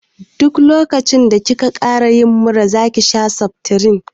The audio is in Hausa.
Duk lokacin da ki ka ƙara yin mura zaki sha seftirin